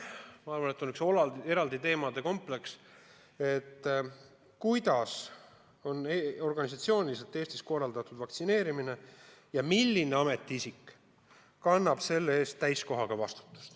Peale selle on üks eraldi teemade kompleks, nimelt, kuidas on organisatsiooniliselt Eestis korraldatud vaktsineerimine ja milline ametiisik kannab selle eest täiskohaga vastutust.